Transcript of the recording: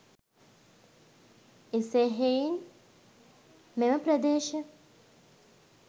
එසේ හෙයින් මෙම ප්‍රදේශ